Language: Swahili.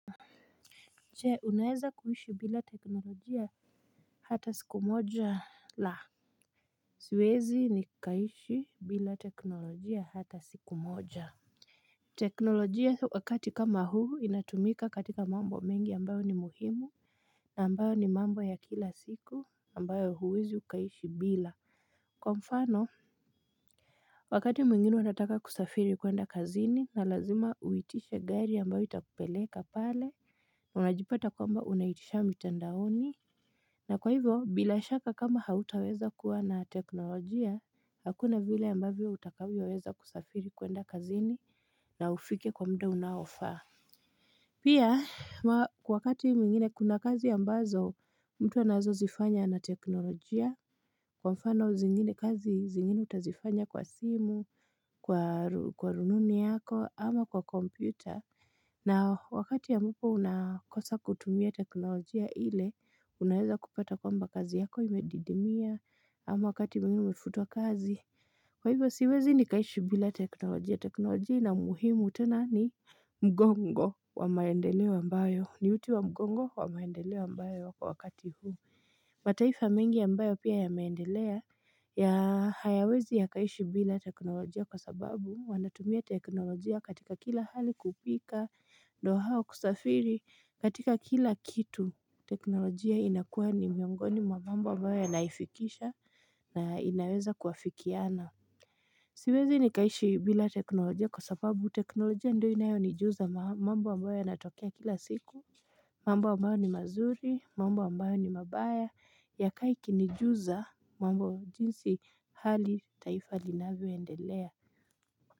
Je unaweza kuishi bila teknolojia hata siku moja la Siwezi ni kiaishi bila teknolojia hata siku moja teknolojia wakati kama huu inatumika katika mambo mengi ambayo ni muhimu na ambayo ni mambo ya kila siku ambayo huwezi ukaishi bila Kwa mfano Wakati mwingine unataka kusafiri kwenda kazini na lazima uitishe gari ambayo utakupeleka pale unajipata kwamba unaitisha mitandaoni na kwa hivyo, bila shaka kama hautaweza kuwa na teknolojia, hakuna vile ambavyo utakavyoweza kusafiri kwenda kazini na ufike kwa mda unaofaa. Pia, kwa wakati mwingine kuna kazi ambazo, mtu anaweza zifanya na teknolojia, kwa mfano zingine kazi zingine utazifanya kwa simu, kwa rununi yako, ama kwa kompyuta. Na wakati ambapo unakosa kutumia teknolojia ile, unaweza kupata kwamba kazi yako imedidimia, ama wakati mwingine umefutwa kazi. Kwa hivyo siwezi ni kaishi bila teknolojia. Teknolojia ina muhimu tena ni mgongo wa maendeleo ambayo. Ni uti wa mgongo wa maendeleo ambayo kwa wakati huu. Mataifa mengi ambayo pia yameendelea hayawezi yakaishi bila teknolojia kwa sababu wanatumia teknolojia katika kila hali kupika ndo hao kusafiri katika kila kitu teknolojia inakuwa ni miongoni mwa mambo ambayo yanaifikisha na inaweza kuafikiana Siwezi ni kaishi bila teknolojia kwa sababu teknolojia ndiyo inayo nijuza mambo ambayo yanatokea kila siku mambo ambayo ni mazuri, mambo ambayo ni mabaya, yakae ikinijuza, mambo jinsi hali taifa linavyoendelea.